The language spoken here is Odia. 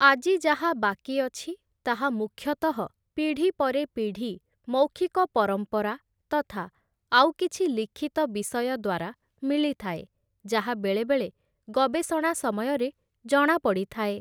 ଆଜି ଯାହା ବାକି ଅଛି ତାହା ମୁଖ୍ୟତଃ ପିଢ଼ି ପରେ ପିଢ଼ି ମୌଖିକ ପରମ୍ପରା ତଥା ଆଉ କିଛି ଲିଖିତ ବିଷୟ ଦ୍ୱାରା ମିଳିଥାଏ, ଯାହା ବେଳେବେଳେ ଗବେଷଣା ସମୟରେ ଜଣାପଡ଼ିଥାଏ ।